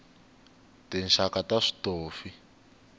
tinxaka ta switofi